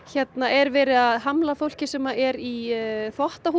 er verið að hamla fólki sem er í